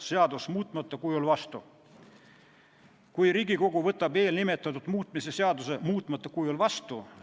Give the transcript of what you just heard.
Kui Vabariigi President pöördub Riigikohtusse, siis Riigikohtu lahend oleks riigikaitseõigusest lähtuvalt õigusselguse huvides vajalik ning sellele saaks tugineda edasises õigusloomes.